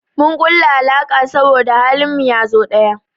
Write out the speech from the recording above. Mun kulla alaka saboda halin mu yazo ɗaya.